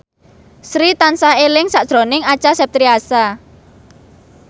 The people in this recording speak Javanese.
Sri tansah eling sakjroning Acha Septriasa